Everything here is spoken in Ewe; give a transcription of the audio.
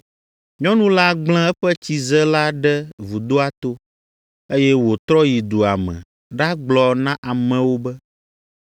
Nyɔnu la gblẽ eƒe tsize la ɖe vudoa to, eye wòtrɔ yi dua me ɖagblɔ na amewo be,